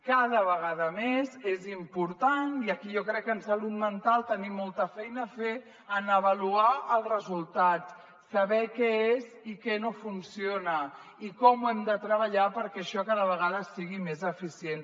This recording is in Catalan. cada vegada més és important i aquí jo crec que en salut mental tenim molta feina a fer a avaluar els resultats saber què és i què no funciona i com ho hem de treballar perquè això cada vegada sigui més eficient